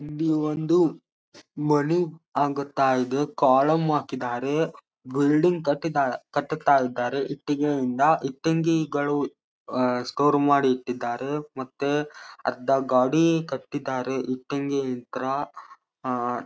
ಇಲ್ಲಿ ಒಂದು ಮನೆ ಆಗುತ್ತಾ ಇದೆ ಕಾಲಂ ಹಾಕಿದ್ದಾರೆ ಬಿಲ್ಡಿಂಗ್ ಕಟ್ಟಿದ್ ಕಟ್ಟುತ್ತಾ ಇದ್ದಾರೆ ಇಟ್ಟಿಗೆಯಿಂದ ಇಟಿಂಗೆಗಳು ಅಹ್ ಸ್ಟೋರ್ ಮಾಡಿ ಇಟ್ಟಿದ್ದಾರೆ ಮತ್ತೆ ಅರ್ಧ ಗಾಡಿ ಕಟ್ಟಿದ್ದಾರೆ ಇಟಿಂಗೆಗಳು ಇತ್ರ ಅಹ್.